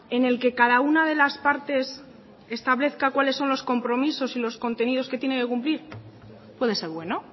en el que cada una de las partes establezca cuales son los compromisos y los contenidos que tiene que cumplir puede ser bueno